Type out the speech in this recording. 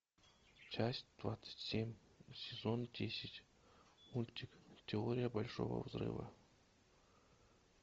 часть двадцать семь сезон десять мультик теория большого взрыва